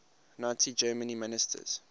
nazi germany ministers